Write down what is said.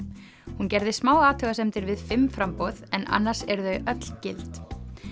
hún gerði smá athugasemdir við fimm framboð en annars eru þau öll gild